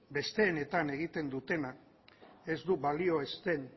besteetan egiten dutena ez du balio